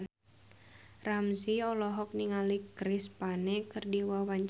Ramzy olohok ningali Chris Pane keur diwawancara